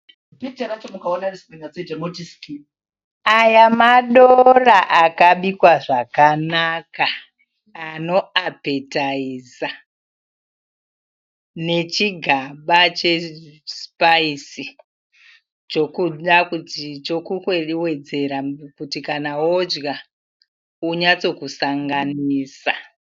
Aya madora akabikwa zvakanaka ano apetaiza nechigaba che sipayisi chokuwedzera kuti kana wodya wonyatsokusanganisa.